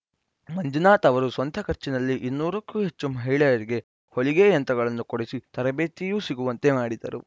ಮಂಜುನಾಥ್‌ ಅವರು ಸ್ವಂತ ಖರ್ಚಿನಲ್ಲಿ ಇನ್ನೂರಕ್ಕೂ ಹೆಚ್ಚು ಮಹಿಳೆಯರಿಗೆ ಹೊಲಿಗೆ ಯಂತ್ರಗಳನ್ನು ಕೊಡಿಸಿ ತರಬೇತಿಯೂ ಸಿಗುವಂತೆ ಮಾಡಿದರು